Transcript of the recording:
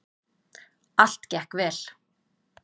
Allt gekk vel.